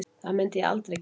Það myndi ég aldrei gera